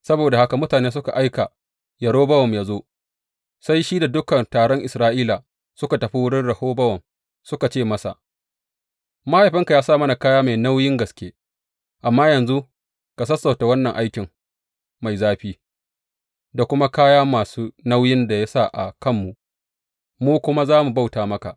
Saboda haka mutane suka aika Yerobowam yă zo, sai shi da dukan taron Isra’ila suka tafi wurin Rehobowam, suka ce masa, Mahaifinka ya sa mana kaya mai nauyin gaske, amma yanzu ka sassauta wannan aiki mai zafi, da kuma kaya masu nauyin da ya sa a kanmu, mu kuwa za mu bauta maka.